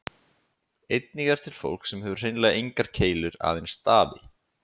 Einnig er til fólk sem hefur hreinlega engar keilur, aðeins stafi.